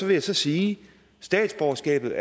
vil jeg sige at statsborgerskabet